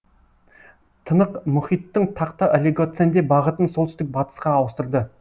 тынықмұхиттың тақта олигоценде бағытын солтүстік батысқа ауыстырды